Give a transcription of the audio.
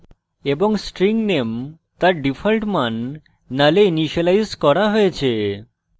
এবং string name তার default মান null এ ইনিসিয়েলাইজ করা হয়েছে